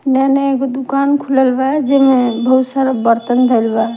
जे में एगो दुखन खुलल बा जे में बहुत सारा बर्तन धईल बा --